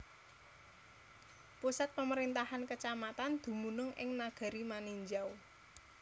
Pusat pemerintahan kacamatan dumunung ing Nagari Maninjau